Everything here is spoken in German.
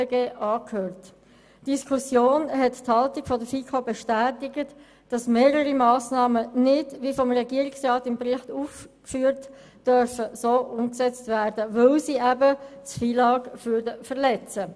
Diese Diskussion hat die Haltung der FiKo bestätigt, wonach mehrere Massnahmen nicht wie vom Regierungsrat im Bericht aufgeführt umgesetzt werden dürfen, weil sie das FILAG verletzen würden.